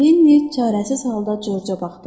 Lenni çarəsiz halda Corca baxdı.